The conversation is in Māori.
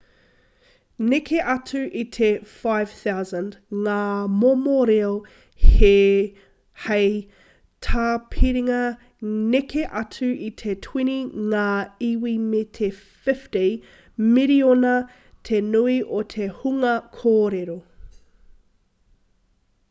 neke atu i te 5,000 ngā momo reo hei tāpiringa neke atu i te 20 ngā iwi me te 50 miriona te nui o te hunga kōrero